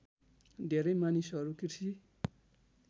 धेरै मानिसहरू कृषि